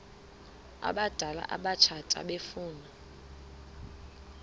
abadala abatsha efuna